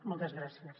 moltes gràcies